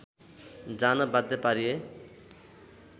जान बाध्य पारिए